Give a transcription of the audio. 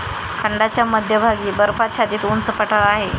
खंडाच्या मध्यभागी बर्फाच्छादित उंच पठार आहे.